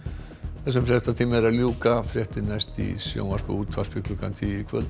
þessum fréttatíma er að ljúka fréttir næst í sjónvarpi og útvarpi klukkan tíu í kvöld